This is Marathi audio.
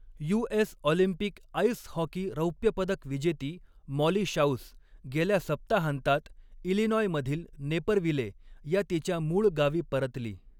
You. S. Olympic ice hockey रौप्यपदक विजेती मॉली शाउस गेल्या सप्ताहांतात इलिनॉयमधील नेपरविले या तिच्या मूळ गावी परतली.